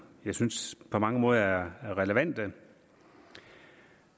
jeg synes på mange måder er relevante